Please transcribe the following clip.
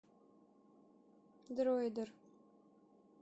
дроидер